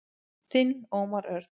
Þinn Ómar Örn.